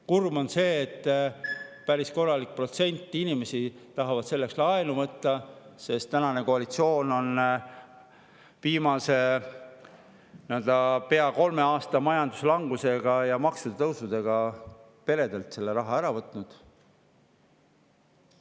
Kurb on see, et päris korralik protsent inimesi tahab selleks laenu võtta, sest tänane koalitsioon on viimase pea kolme aasta majanduslangusega ja maksude tõusudega peredelt selle raha ära võtnud.